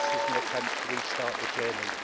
This is an attempt to restart the journey.